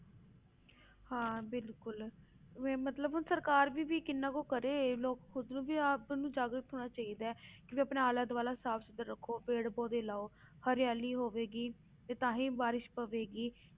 ਹਾਂ ਬਿਲਕੁਲ ਵੀ ਮਤਲਬ ਹੁਣ ਸਰਕਾਰ ਵੀ ਵੀ ਕਿੰਨਾ ਕੁ ਕਰੇ ਲੋਕ ਖੁੱਦ ਨੂੰ ਵੀ ਆਪ ਨੂੰ ਜਾਗਰੂਕ ਹੋਣਾ ਚਾਹੀਦਾ ਹੈ ਵੀ ਆਪਣਾ ਆਲਾ ਦੁਆਲਾ ਸਾਫ਼ ਸੁਥਰਾ ਰੱਖੋ, ਪੇੜ ਪੌਦੇ ਲਾਓ, ਹਰਿਆਲੀ ਹੋਵੇਗੀ ਤੇ ਤਾਂ ਹੀ ਬਾਰਿਸ਼ ਪਵੇਗੀ।